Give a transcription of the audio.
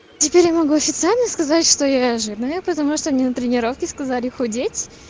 теперь я могу официально сказать что я жирная потому что они на тренировке сказали худеть